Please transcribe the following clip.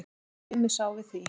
En Tumi sá við því.